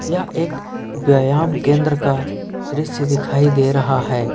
यह एक व्यायाम केंद्र का दृश्य दिखाई दे रहा है।